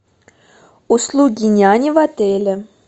услуги няни в отеле